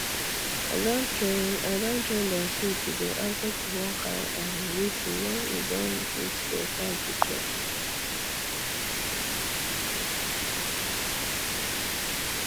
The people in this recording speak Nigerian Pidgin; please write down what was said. i don train i don train dem sheep to dey answer to one kind um whistle when e don reach dia time to chop